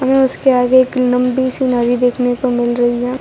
ये उसके आगे एक लंबी सी नदी देखने को मिल रही है।